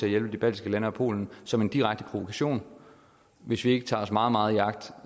hjælpe de baltiske lande og polen som en direkte provokation hvis vi ikke tager os meget meget i agt